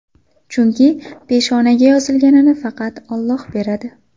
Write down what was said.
Chunki peshonaga yozilganini faqat Alloh beradi.